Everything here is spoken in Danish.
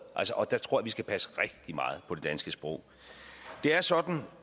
der tror jeg vi skal passe rigtig meget på det danske sprog det er sådan